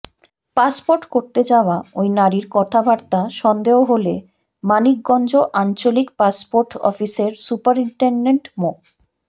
passport করতে যাওয়া ওই নারীর কথাবার্তা সন্দেহ হলে মানিকগঞ্জ আঞ্চলিক পাসপোর্ট অফিসের সুপারিনটেনডেন্ট মো